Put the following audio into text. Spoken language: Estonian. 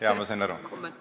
Jah, ma sain aru.